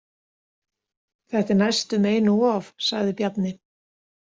Þetta er næstum einum of, sagði Bjarni.